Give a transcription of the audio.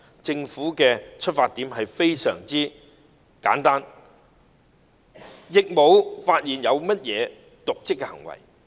政府出發點非常簡單，在修例的程序中沒有發現任何瀆職行為。